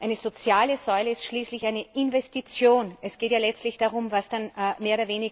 Eine soziale Säule ist schließlich eine Investition! Es geht ja letztlich darum, was dann mehr oder weniger gemacht wird.